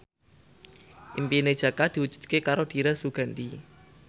impine Jaka diwujudke karo Dira Sugandi